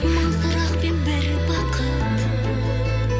мың сұрақпен бір бақыт